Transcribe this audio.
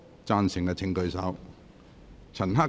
贊成的請舉手。